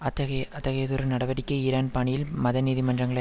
அத்தகைய அத்தகையதொரு நடவடிக்கை ஈரான் பணியில் மத நீதிமன்றங்களை